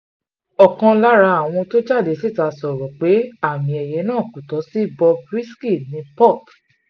ọ̀kan lára àwọn tó jáde síta sọ̀rọ̀ pé àmì-ẹ̀yẹ náà kò tó sí bob risky ní port